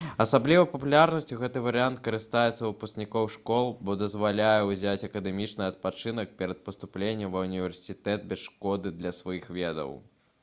асаблівай папулярнасцю гэты варыянт карыстаецца ў выпускнікоў школ бо дазваляе ўзяць акадэмічны адпачынак перад паступленнем ва ўніверсітэт без шкоды для сваіх ведаў